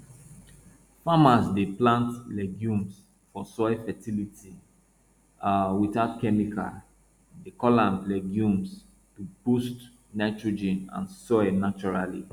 farmers dey plant legumes for soil fertility um without chemical dey call am legumes to boost nitrogen and soil naturally